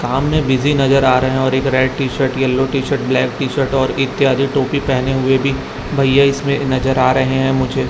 काम मे बिजी नज़र आ रहे है और एक red T-shirt yellow T-shirt black T-shirt और इत्यादि टोपी पहने हुए भी भईया इसमें नज़र आ रहे है मुझे --